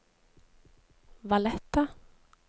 Valletta